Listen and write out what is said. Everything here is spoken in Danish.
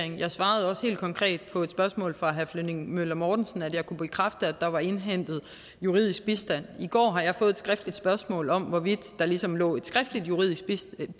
jeg svarede også helt konkret på et spørgsmål fra herre flemming møller mortensen at jeg kunne bekræfte at der var indhentet juridisk bistand i går har jeg fået et skriftligt spørgsmål om hvorvidt der ligesom lå et skriftligt juridisk